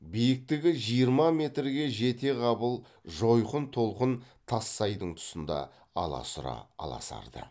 биіктігі жиырма метрге жетеғабыл жойқын толқын тассайдың тұсында аласұра аласарды